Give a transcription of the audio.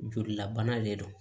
Jolilabana de do